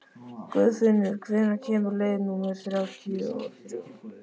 Guðfinnur, hvenær kemur leið númer þrjátíu og þrjú?